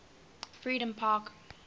freedompark